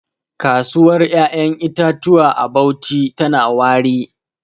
Kasuwar 'ya'yan itatuwa a Bauchi tana wari.